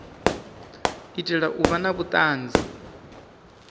itela u vha na vhuanzi